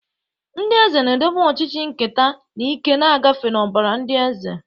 Ndị eze na-edobe ọchịchị nketa, na ike na-agafe n'ọbara ndị eze.